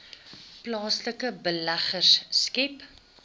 plaaslike beleggers skep